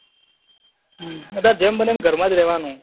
હમ અત્યારે જેમ બને એમ ઘર માં જ રહવાનું